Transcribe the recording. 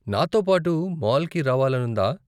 నాతో పాటు మాల్కి రావాలనుందా?